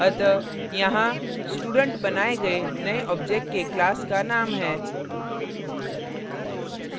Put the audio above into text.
अतः यहाँ student बनाये गये नये object के class का name है